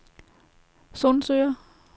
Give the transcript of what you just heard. Sundsøre